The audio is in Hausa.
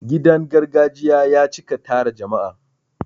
Gidan gargajiya ya cika tara jama'a.